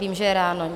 Vím, že je ráno.